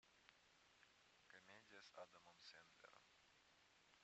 комедия с адамом сэндлером